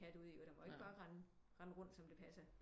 Kat ud den må ikke bare rende rende rundt som det passer